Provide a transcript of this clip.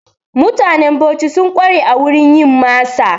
Mutanen Bauchi sun ƙware a wurin yin masa.